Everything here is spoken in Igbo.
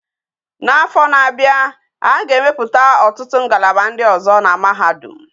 Na afo na abia aga e meputa ututu ngalaba ndi ozo na mahadum